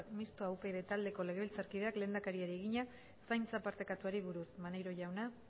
mistoa upyd taldeko legebiltzarkideak lehendakariari egina zaintza partekatuari buruz maneiro jauna